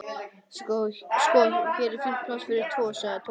Sko, hér er fínt pláss fyrir tvo sagði Tóti.